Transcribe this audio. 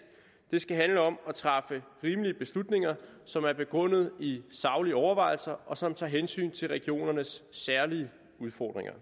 det skal handle om at træffe rimelige beslutninger som er begrundet i saglige overvejelser og som tager hensyn til regionernes særlige udfordringer